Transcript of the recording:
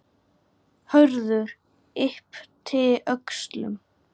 Hörður yppti öxlum.